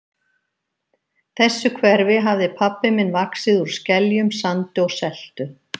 þessu hverfi hafði pabbi minn vaxið úr skeljum, sandi og seltu.